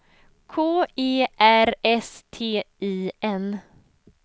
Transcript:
K E R S T I N